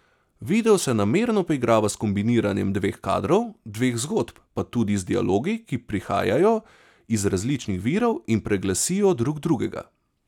Video se namerno poigrava s kombiniranjem dveh kadrov, dveh zgodb, pa tudi z dialogi, ki prihajajo iz različnih virov in preglasijo drug drugega.